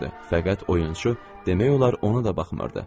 Fəqət oyunçu demək olar ona da baxmırdı.